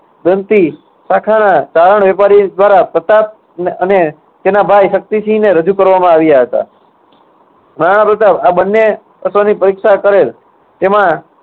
વેપારી દ્વારા પ્રતાપ ન~અને તેના ભાઈ શક્તિસિંહે રજૂ કરવામાં આવ્યા હતા. મહારાણા પ્રતાપ આ બંને અશ્વની પરીક્ષા કરેલ તેમાં